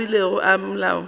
a beilwego ke molao wa